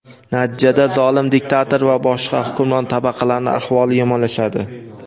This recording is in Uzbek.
natijada zolim diktator va boshqa hukmron tabaqalarning ahvoli yomonlashadi.